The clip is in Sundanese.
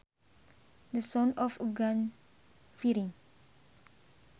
The sound of a gun firing